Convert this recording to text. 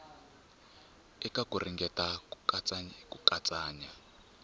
eka ku ringeta ku katsakanya